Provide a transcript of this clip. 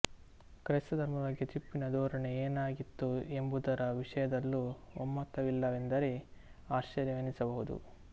ಕ್ರೈಸ್ತ ಧರ್ಮದ ಬಗ್ಗೆ ಟಿಪ್ಪುವಿನ ಧೋರಣೆ ಏನಾಗಿತ್ತು ಎಂಬುದರ ವಿಷಯದಲ್ಲೂ ಒಮ್ಮತವಿಲ್ಲವೆಂದರೆ ಆಶ್ಚರ್ಯವೆನಿಸ ಬಹುದು